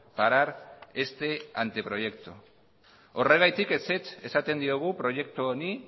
parar este anteproyecto horregatik ezetz esaten diogu proiektu honi